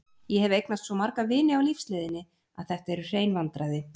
Ég hef eignast svo marga vini á lífsleiðinni að þetta eru hrein vandræði.